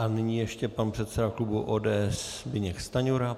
A nyní ještě pan předseda klubu ODS Zbyněk Stanjura.